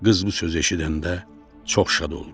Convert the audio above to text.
Qız bu sözü eşidəndə çox şad oldu.